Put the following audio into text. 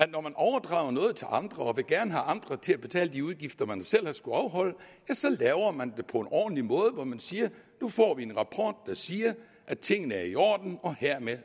når man overdrager noget til andre og gerne vil have andre til at betale de udgifter man selv har skullet afholde så laver det på en ordentlig måde hvor man siger nu får vi en rapport der siger at tingene er i orden og hermed